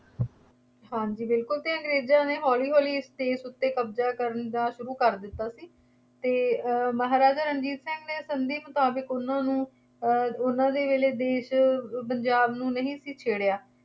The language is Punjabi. ਹਾਂਜੀ ਬਿਲਕੁੱਲ ਅਤੇ ਅੰਗਰੇਜ਼ਾਂ ਨੇ ਹੌਲੀ ਹੌਲੀ ਉਸ ਚੀਜ਼ 'ਤੇ ਕਬਜ਼ਾ ਕਰਨ ਦਾ ਸ਼ੁਰੂ ਕਰ ਦਿੱਤਾ ਸੀ ਅਤੇ ਅਹ ਮਹਾਰਾਜਾ ਰਣਜੀਤ ਸਿੰਘ ਨੇ ਸੰਧੀ ਮੁਤਾਬਿਕ ਉਹਨਾ ਨੂੰ ਅਹ ਉਹਨਾ ਦੇ ਵੇਲੇ ਦੇਸ਼ ਪੰਜਾਬ ਨੂੰ ਨਹੀਂ ਸੀ ਛੇੜਿਆ